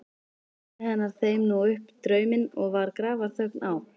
Sagði hann þeim nú upp drauminn og var grafarþögn á.